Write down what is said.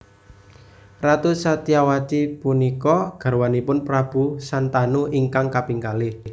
Ratu Satyawati punika garwanipun Prabu Santanu ingkang kaping kalih